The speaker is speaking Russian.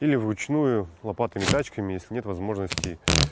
или вручную лопатами тачками если нет возможности